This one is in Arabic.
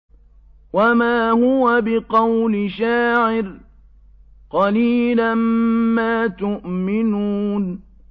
وَمَا هُوَ بِقَوْلِ شَاعِرٍ ۚ قَلِيلًا مَّا تُؤْمِنُونَ